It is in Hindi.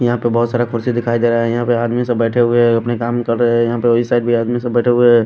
यहां पे बहोत सारा कुर्सी दिखाई दे रहा है यहां पे आदमी सब बैठे हुए हैं अपने काम कर रहे हैं यहां पे इस साइड भी आदमी सब बैठे हुए हैं।